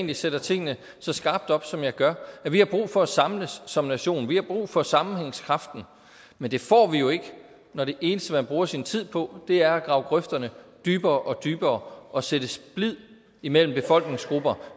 jeg sætter tingene så skarpt op som jeg gør vi har brug for at samles som nation vi har brug for sammenhængskraften men det får vi jo ikke når det eneste man bruger sin tid på er at grave grøfterne dybere og dybere og sætte splid imellem befolkningsgrupper